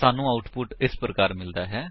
ਸਾਨੂੰ ਆਉਟਪੁਟ ਇਸ ਪ੍ਰਕਾਰ ਮਿਲਦੀ ਹੈ